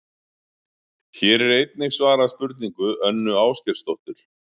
Hér er einnig svarað spurningu Önnu Ásgeirsdóttur: